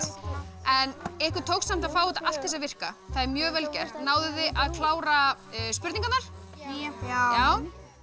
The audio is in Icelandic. en ykkur tókst samt að fá þetta allt til þess að virka það er mjög vel gert náðuð þið að klára spurningarnar já